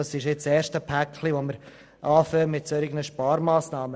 Dies ist nun das erste solche Päckchen.